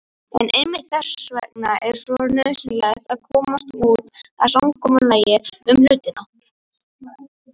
En einmitt þess vegna er svo nauðsynlegt að komast að samkomulagi um hlutina.